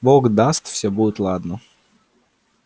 бог даст всё будет ладно